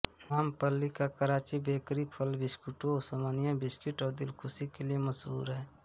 नामपल्ली का कराची बेकरी फल बिस्कुटों ओस्मानिया बिस्कुट और दिलखुश के लिए मशहूर हैं